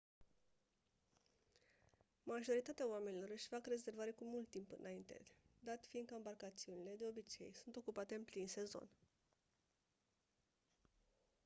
majoritatea oamenilor își fac rezervare cu mult timp înainte dat fiind că ambarcațiunile de obicei sunt ocupate în plin sezon